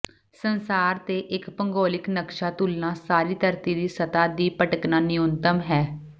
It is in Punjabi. ਸੰਸਾਰ ਤੇ ਇੱਕ ਭੂਗੋਲਿਕ ਨਕਸ਼ਾ ਤੁਲਨਾ ਸਾਰੀ ਧਰਤੀ ਦੀ ਸਤ੍ਹਾ ਦੀ ਭਟਕਣਾ ਨਿਊਨਤਮ ਹੈ